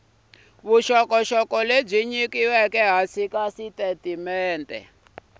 lebyi nyikiweke ehansi ka xitatimende